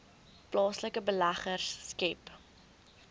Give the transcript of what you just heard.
plaaslike beleggers skep